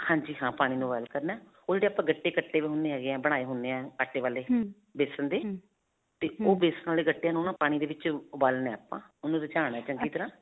ਹਾਂਜੀ ਜੀ, ਹਾਂ. ਪਾਣੀ ਨੂੰ boil ਕਰਨਾ. ਉਹ ਜਿਹੜੇ ਆਪਾਂ ਗੱਟੇ ਕੱਟੇ ਪਏ ਹੁੰਦੇ ਬਣਾਏ ਹੁੰਦੇ ਹੈ ਆਟੇ ਵਾਲੇ, ਬੇਸਨ ਦੇ ਤੇ ਉਹ ਬੇਸਨ ਵਾਲੇ ਗੱਟਿਆਂ ਨੂੰ ਨਾ ਪਾਣੀ ਦੇ ਵਿੱਚ ਉਬਾਲਣਾ ਆਪਾਂ, ਉਹਨੂੰ ਰਿਜਾਣਾ ਚੰਗੀ ਤਰ੍ਹਾਂ .